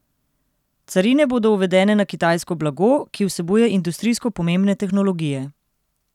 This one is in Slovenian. Carine bodo uvedene na kitajsko blago, ki vsebuje industrijsko pomembne tehnologije.